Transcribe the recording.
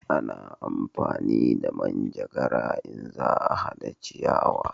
A na amfani da manjagara in za a hada ciyawa